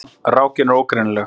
Rákin er ógreinileg.